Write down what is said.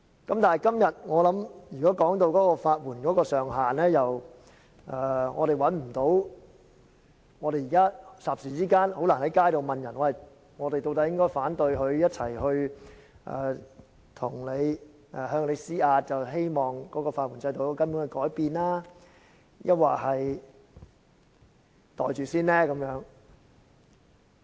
但是，今天討論法援上限上調的建議，我們不能霎時間問街上的市民，我們應該投反對票，藉以向政府施壓，希望法援制度有根本的改變，抑或應該"袋住先"，先接納有關建議。